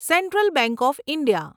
central bank of India